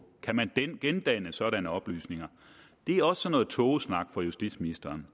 kan man gendanne sådanne oplysninger det er også sådan noget tågesnak fra justitsministerens